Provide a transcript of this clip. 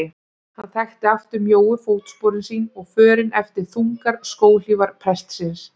Hann þekkti aftur mjóu fótsporin sín og förin eftir þungar skóhlífar prestsins.